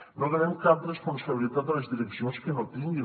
no donem cap responsabilitat a les direccions que no tinguin